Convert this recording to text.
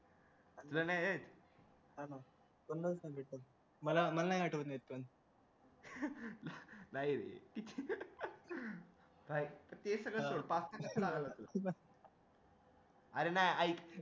तुझं नाही रे मला मला नाही आठवत आहे ते सगळं सोड पाच ते अरे नाय ऐक